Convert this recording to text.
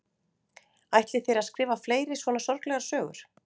Ætlið þér að skrifa fleiri svona sorglegar sögur?